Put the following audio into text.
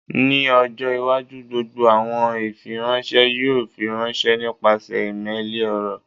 Ni ọjọ iwaju gbogbo awọn ifiranṣẹ yoo firanṣẹ nipasẹ imeeli, ọrọ